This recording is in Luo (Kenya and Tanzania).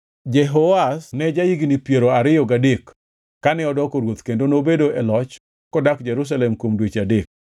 Jehoahaz ne ja-higni piero ariyo gadek kane odoko ruoth kendo nobedo e loch kodak Jerusalem kuom dweche adek.